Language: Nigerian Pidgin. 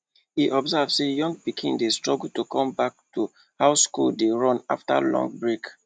e observe say younger pikin dey struggle to come back to how school dey run after long break